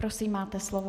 Prosím, máte slovo.